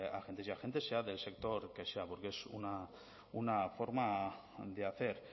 agentes sea del sector que sea porque es una forma de hacer